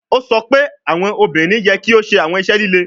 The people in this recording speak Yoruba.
O sọ pe awọn obinrin yẹ ki o ṣe awọn iṣẹ lile